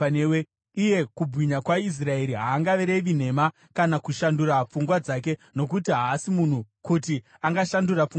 Iye Kubwinya kwaIsraeri haangarevi nhema kana kushandura pfungwa dzake; nokuti haasi munhu, kuti angashandura pfungwa dzake.”